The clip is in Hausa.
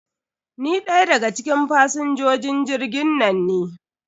Ni ɗaya daga cikin fasinjojin jirgin nan ne.